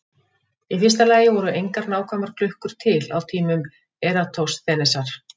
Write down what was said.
Í fyrsta lagi voru engar nákvæmar klukkur til á tímum Eratosþenesar.